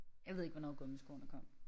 Jeg ved ikke hvornår gummiskoene kom